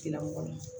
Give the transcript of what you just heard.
Tigilamɔgɔ ma